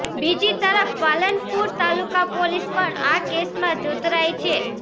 બીજી તરફ પાલનપુર તાલુકા પોલીસ પણ આ કેસમાં જોતરાઇ છે